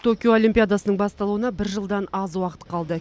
токио олимпиадасының басталуына бір жылдан аз уақыт қалды